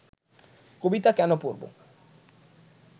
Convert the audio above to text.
কবিতা কেন পড়ব